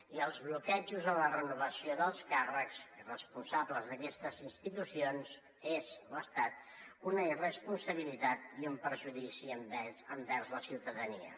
i el bloqueig en la renovació dels càrrecs i responsables d’aquestes institucions és o ha estat una irresponsabilitat i un perjudici envers la ciutadania